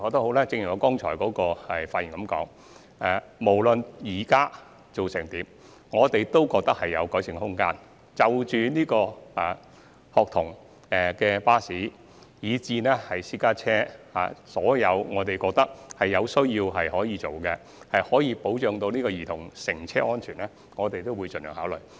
可是，正如我剛才所言，無論現時做得如何，我們認為仍有改善的空間，從校巴至私家車，所有我們認為有需要作出改善以保障兒童乘車安全之處，我們也會盡量考慮。